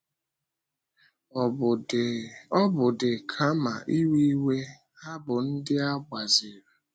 Ọ́ bụ́ dị, kama iwe iwe, ha bụ ndị a gbaziri.